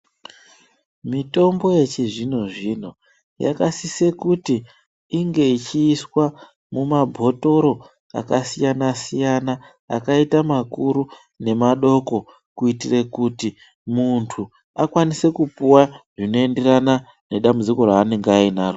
Mitombo yechizvino zvino yakasise kuti inge ichiiswa mumabhotoro akasiyana siyana akaite makuru nemadoko kuitire kuti munthu akwanise kupuwa zvinoenderana nedambudziko raanenge anaro.